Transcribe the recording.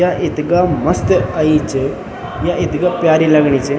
या इथगा मस्त अई च या इथगा प्यारी लगणी च।